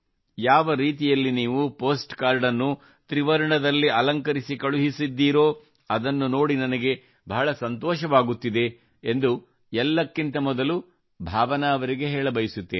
ಯಾವ ರೀತಿಯಲ್ಲಿ ನೀವು ಪೋಸ್ಟ್ ಕಾರ್ಡ್ ಅನ್ನು ತ್ರಿವರ್ಣದಲ್ಲಿ ಅಲಂಕರಿಸಿ ಕಳುಹಿಸಿದ್ದೀರೋ ಅದನ್ನು ನೋಡಿ ನನಗೆ ಬಹಳ ಸಂತೋಷವಾಗುತ್ತಿದೆ ಎಂದು ಎಲ್ಲಕ್ಕಿಂತ ಮೊದಲು ಭಾವನಾ ಅವರಿಗೆ ಹೇಳಬಯಸುತ್ತೇನೆ